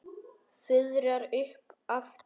Fuðrar upp aftur.